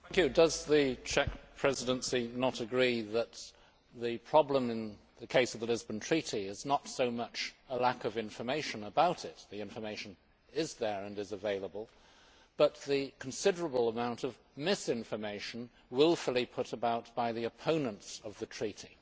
Does the Czech Presidency not agree that the problem in the case of the Lisbon Treaty is not so much a lack of information about it, since the information is there and is available, but the considerable amount of misinformation wilfully put about by the opponents of the Treaty?